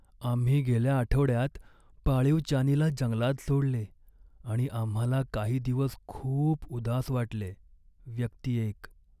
आम्ही गेल्या आठवड्यात पाळीव चानीला जंगलात सोडले आणि आम्हाला काही दिवस खूप उदास वाटले. व्यक्ती एक